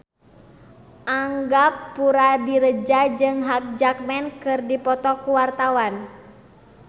Angga Puradiredja jeung Hugh Jackman keur dipoto ku wartawan